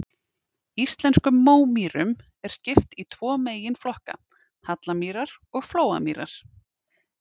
Íslenskum mómýrum er skipt í tvo meginflokka, hallamýrar og flóamýrar.